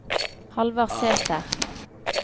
Halvard Sæther